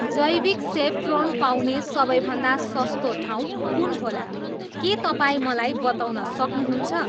जैविक सेफ्रोन पाउने सबैभन्दा सस्तो ठाउँ कुन होला के तपाईँ मलाई बताउन सक्नुहुन्छ